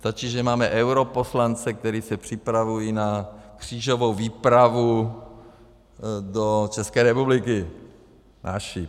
Stačí, že máme europoslance, kteří se připravují na křížovou výpravu do České republiky - naši...